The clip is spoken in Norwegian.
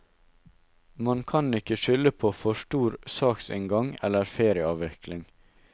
Man kan ikke skylde på for stor saksinngang eller ferieavvikling.